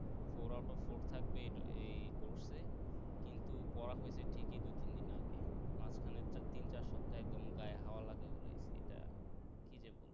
four out of four থাকবে এটা এই course এ কিন্তু পড়া হইতে ঠিকই দুই তিন দিন আগে মাঝখানে তার তিন চার সপ্তাহ একদম গায়ে হাওয়া লাগায় বেরাইছি তা কি যে বলবো